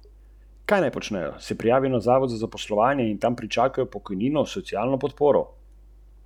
Ta prinaša šest predstav, polovico jih bodo ustvarili v koprodukciji.